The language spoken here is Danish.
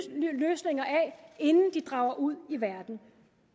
løsninger af inden de drager ud i verden